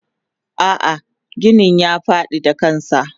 Ah ah ginin ya fadi da kansa.